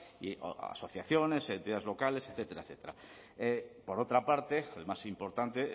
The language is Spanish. y o asociaciones entidades locales etcétera etcétera por otra parte el más importante